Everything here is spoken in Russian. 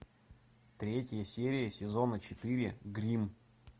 третья серия сезона четыре гримм